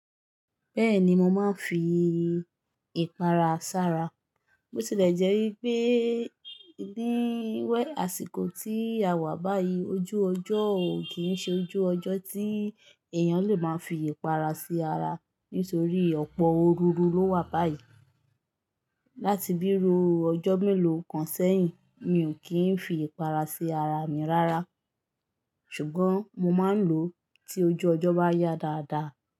Bẹ́ẹ̀ni, mo máa ń fi ìpara sara. Botilẹjẹ́ pé àsìkò tí a wà báyìí, ojú ọjọ́ ò kí ń ṣe ojú ọjọ́ tí èèyàn lè máa fi ìpara sí ara nítorí ọ̀pọ̀ oru ló wà báyìí. Látì bí ru ọjọ́ mélòó kan sẹ́yìn, mi ò kí ń fi ìpara sí ara mi rárá. Ṣùgbọ́n mo máa ń lò ó, tí ojú ọjọ́ bá yá dáadáa.